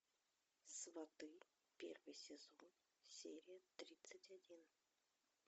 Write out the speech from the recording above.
сваты первый сезон серия тридцать один